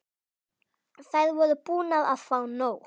Þær voru búnar að fá nóg.